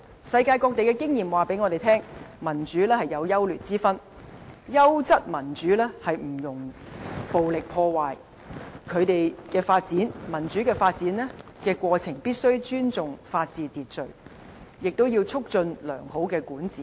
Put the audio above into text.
世界各地的經驗告訴我們，民主有優劣之分，優質民主不容暴力破壞，民主發展的過程必須尊重法治秩序，也要促進良好的管治。